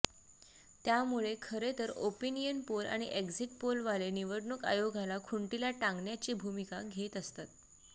त्यामुळे खरे तर ओपिनियन पोल आणि एक्झिट पोलवाले निवडणूक आयोगाला खुंटीला टांगण्याची भूमिका घेत असतात